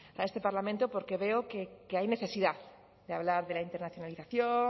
a este parlamento porque veo que hay necesidad de hablar de la internacionalización